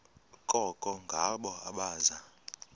koko ngabo abaza